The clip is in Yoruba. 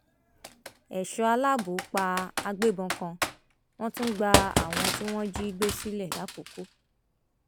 èso aláàbò pa àgbébọn kan wọn tún gba àwọn tí wọn jí gbé sílẹ làkòkò